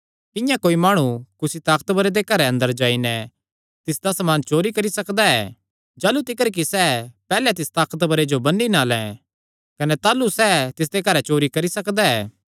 किंआं कोई माणु कुसी ताकतवरे दे घरे अंदर जाई नैं तिसदा समान चोरी करी सकदा ऐ जाह़लू तिकर कि सैह़ पैहल्ले तिस ताकतवरे जो बन्नी ना लैं कने ताह़लू सैह़ तिसदे घरैं चोरी करी सकदा ऐ